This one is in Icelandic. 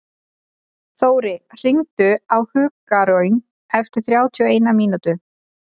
Þóri, hringdu í Hugraun eftir þrjátíu og eina mínútur.